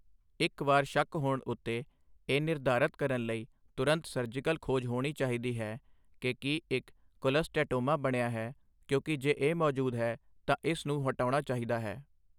ਇੱਕ ਵਾਰ ਸ਼ੱਕ ਹੋਣ ਉੱਤੇ, ਇਹ ਨਿਰਧਾਰਤ ਕਰਨ ਲਈ ਤੁਰੰਤ ਸਰਜੀਕਲ ਖੋਜ ਹੋਣੀ ਚਾਹੀਦੀ ਹੈ ਕਿ ਕੀ ਇੱਕ ਕੋਲਸਟੈਟੋਮਾ ਬਣਿਆ ਹੈ ਕਿਉਂਕਿ ਜੇ ਇਹ ਮੌਜੂਦ ਹੈ ਤਾਂ ਇਸ ਨੂੰ ਹਟਾਉਣਾ ਚਾਹੀਦਾ ਹੈ।